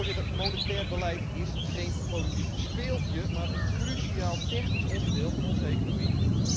Voorzitter, monetair beleid is geen politiek speeltje, maar een cruciaal technisch onderdeel van onze economie.